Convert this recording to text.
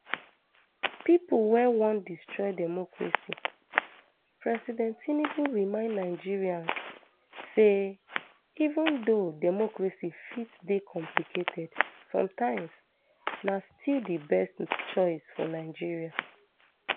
pipo wey wan destroy democracy president tinubu remind nigerians say even though democracy fit dey complicated sometimes na still di best choice for nigeria